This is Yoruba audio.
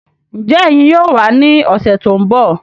Njẹ ẹyin yóò wà ní ọsẹ tó n bọ?